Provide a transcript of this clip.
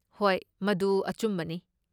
ꯍꯣꯏ, ꯃꯗꯨ ꯑꯆꯨꯝꯕꯅꯤ꯫